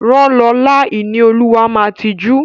Rán Lọla! Ìníolúwa máa tijú.